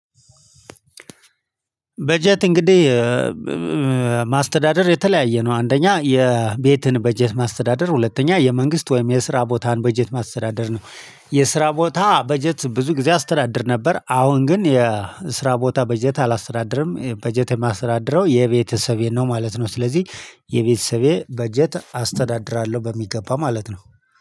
በጀት እንግዲህ ማስተዳደር የተለያየ ነው አንደኛ የቤትን በጀት ማስተዳደር ሁለተኛ የመንግስት ወይም የስራ ቦታን በጀት ማስተዳደር ነው። የስራ ቦታ በጀት ብዙ ጊዜ አስተዳድር ነበር። አሁን ግን የስራ ቦታ በጀት አላስተዳድርም በጀት የማስተዳድረው የቤተሰቤን ነው ማለት ነው። ስለዚህ የቤተሰቤ በጀት አስተዳድራለሁ በሚገባ ማለት ነው